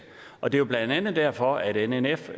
og det er jo blandt andet derfor at nnf